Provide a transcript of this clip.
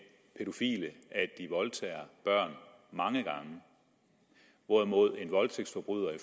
pædofile at de voldtager børn mange gange hvorimod en voldtægtsforbryder i